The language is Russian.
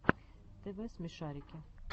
тв смешарики